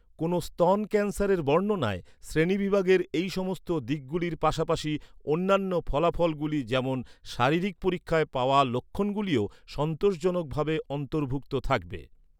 কোনও স্তন ক্যান্সারের বর্ণনায় শ্রেণীবিভাগের এই সমস্ত দিকগুলির পাশাপাশি, অন্যান্য ফলাফলগুলি, যেমন শারীরিক পরীক্ষায় পাওয়া লক্ষণগুলিও সন্তোষজনকভাবে অন্তর্ভুক্ত থাকবে।